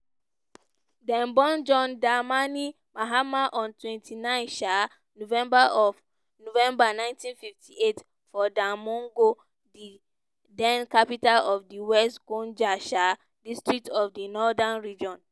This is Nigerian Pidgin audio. dem born john dramani mahama on twenty nine um november of november nineteen fifty eight for damongo di den capital of di west gonja um district of di northern region.